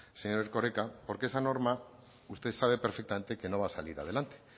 señor erkoreka porque esa norma usted sabe perfectamente que no va a salir adelante